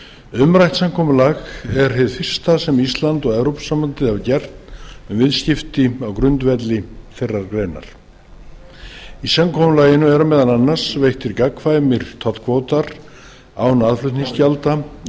umrætt samkomulag er hið fyrsta sem ísland og evrópusambandið hafa gert um viðskipti á grundvelli þeirrar greinar í samkomulaginu eru meðal annars veittir gagnkvæmir tollkvótar án aðflutningsgjalda í